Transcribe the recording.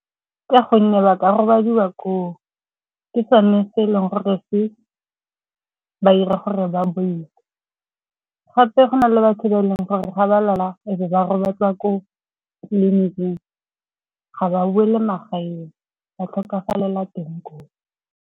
Ka gonne ba ka robadiwa koo, ke sone se eleng gore ba ira gore ba boife. Gape go na le batho ba eleng gore ga lwala e be ba robatswa ko tleliniking, ga ba boele magaeng, ba tlhokafalela teng koo.